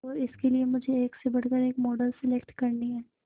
और इसके लिए मुझे एक से बढ़कर एक मॉडल सेलेक्ट करनी है